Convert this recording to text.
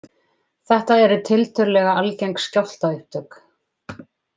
Þetta eru tiltölulega algeng skjálftaupptök